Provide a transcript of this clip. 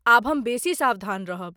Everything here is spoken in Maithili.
आब हम बेसी सावधान रहब।